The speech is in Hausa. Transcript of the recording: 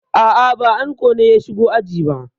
A'a, ba anko ne ya shigo aji ba.